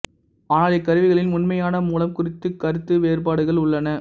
ஆனால் இக்கருவிகளின் உண்மையான மூலம் குறித்துக் கருத்து வேறுபாடுகள் உள்ளன